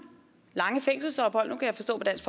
lange fængselsophold nu kan jeg forstå på dansk